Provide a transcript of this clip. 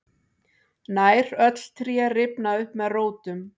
nær öll tré rifna upp með rótum